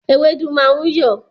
Ewédú máa ń yọ̀